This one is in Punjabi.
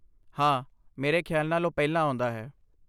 ਹਾਂ, ਮੇਰੇ ਖਿਆਲ ਨਾਲ ਓਹ ਪਹਿਲਾਂ ਆਉਂਦਾ ਹੈ